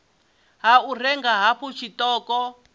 ha u renga hafhu tshiṱoko